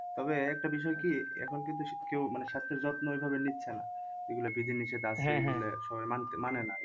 তবে একটা বিষয় কি এখন কিন্তু কেও মানে স্বাস্থ্যের যত্ন ওইভাবে নিচ্ছে না এগুলা বিধি নিশেষ সবাই মানছে মানে না।